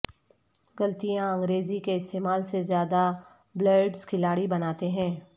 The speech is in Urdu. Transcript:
غلطیاں انگریزی کے استعمال سے زیادہ بلئرڈس کھلاڑی بناتے ہیں